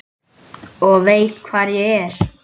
Og veit hvar ég er.